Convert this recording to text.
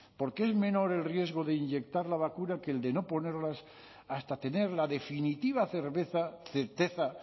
porque es menor el riesgo de inyectar la vacuna que el de no ponerlas hasta tener la definitiva cerveza certeza